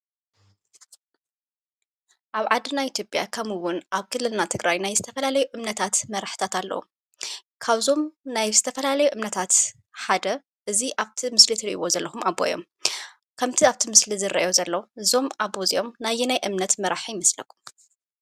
ኣብ ዓድና ኢትዮጵያ ከምኡ እውን ኣብ ክልልና ትግራይ ናይ ዝተፈላለዩ እምነታት መራሕቲታት ኣለው። ካብዞም ናይ ዝተፈላለዩ እምነታት ሓደ እዚ ኣብቲ ምስሊ እትርእይዎ ዘለኩም ኣቦ እዮም። ከምቲ ኣብቲ ምስሊ ዝረአዩ ዘሎ እዞም ኣቦ እዚኦም ናይ ኣየናይ እምነት መራሒ ይመስለኩም?